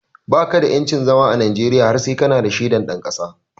Baka da yancin zama a Najeriya har sai kana da shaidar ɗan ƙasa